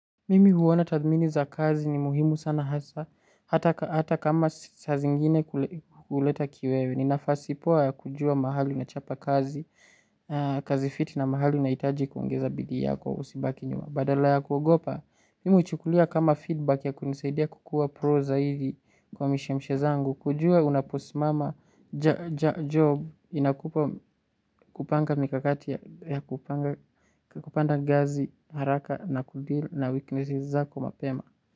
Mimi huona tathmini za kazi ni muhimu sana hasa, hata kama sa zingine huleta kiwewe, ninafasi poa ya kujua mahali na chapa kazi, kazi fiti na mahali unahitaji kuongeza bidii yako usibaki nyuma. Badala ya kuogopa, mi uchukulia kama feedback ya kunisaidia kukua pro zaidi kwa mishemshe zangu. Kujua unaposimama job inakupa kupanga mikakati ya kupanga, kupanda gazi haraka na kudeal na weakness zako mapema.